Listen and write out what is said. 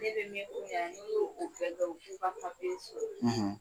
Ne yɛrɛ mɛn kun yan , n e y'o bɛ kɛ an u si ma papiye sɔrɔ, um]